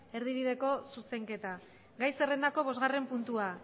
erdibideko zuzenketa gai zerrendako bosgarren puntua